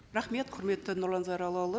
рахмет құрметті нұрлан зайроллаұлы